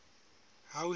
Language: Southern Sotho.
hauhelele